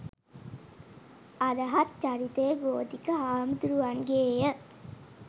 අරහත් චරිතය ගෝධික හාමුදුරුවන්ගේය.